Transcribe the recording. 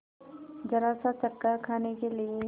जरासा चक्कर खाने के लिए